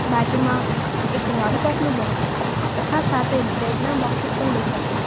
બાજુમાં એક લોલીપોપ નું બોક્સ તથા સાથે બ્રેડ ના બોક્સેસ પણ દેખાય છે.